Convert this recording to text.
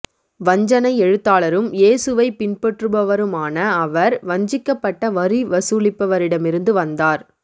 வஞ்சனை எழுத்தாளரும் இயேசுவைப் பின்பற்றுபவருமான அவர் வஞ்சிக்கப்பட்ட வரி வசூலிப்பவரிடமிருந்து வந்தார்